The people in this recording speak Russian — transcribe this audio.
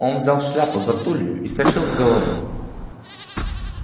он взял шляпу за тулью и стащил с головы